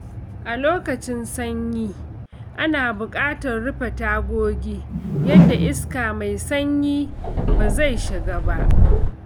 A lokacin sanyi, ana buƙatar rufe tagogi yadda iska mai sanyi ba zai shiga ba.